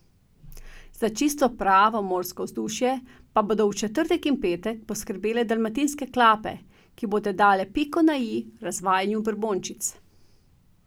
Za čisto pravo morsko vzdušje pa bodo v četrtek in petek poskrbele dalmatinske klape, ki bodo dale piko na i razvajanju brbončic.